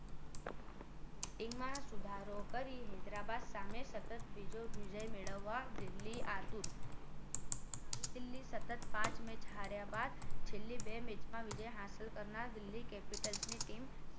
Batting માં સુધારો કરી હૈદરાબાદ સામે સતત બીજો વિજય મેળવવા દિલ્હી આતુર નવી દિલ્હી સતત પાંચ મેચ હાર્યા બાદ છેલ્લી બે મેચમાં વિજય હંસલ કરનાર દિલ્હી capital ની ટીમ